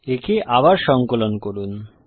একে আবার সঙ্কলন করুন